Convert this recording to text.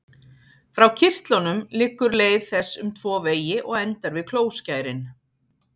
Frá kirtlunum liggur leið þess um tvo vegi og endar við klóskærin.